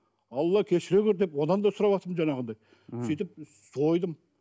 алла кешіре көр деп одан да сұрап жатырмын жаңағыдай сөйтіп сойдым